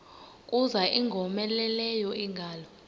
kuza ingowomeleleyo ingalo